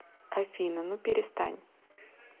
афина ну перестань